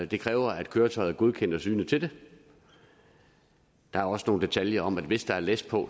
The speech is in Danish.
det kræver at køretøjet er godkendt og synet til det der er også nogle detaljer om at hvis der er læs på